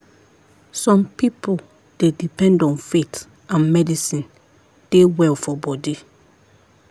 some people dey depend on faith and medicine dey well for body.